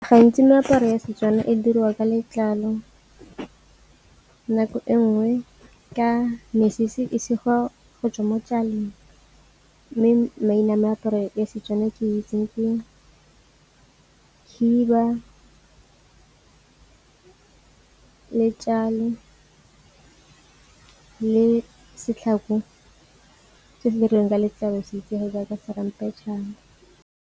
Gantsi meaparo ya Setswana e diriwa ka letlalo, nako e nngwe ka mesese e segiwa go tswa mo . Mme maina a meaparo e Setswana e ke itseng khiba le le setlhako se se dirilweng ka letlalo se itsege jaaka ramphetšhane.